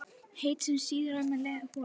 heitt, sem sýður á leið upp holuna.